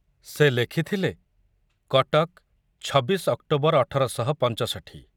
ସେ ଲେଖିଥିଲେ, ଛବିଶ ଅକ୍ଟୋବର ଅଠର ଶହ ପଞ୍ଚଷଠି